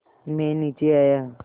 मैं नीचे आया